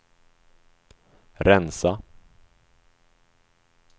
rensa